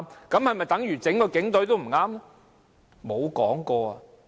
這是否等於整個警隊都犯錯？